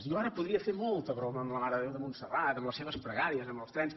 jo ara podria fer molta broma amb la mare de déu de montserrat amb les seves pregàries amb els trens